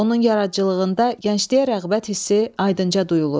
Onun yaradıcılığında gəncliyə rəğbət hissi aydınca duyulur.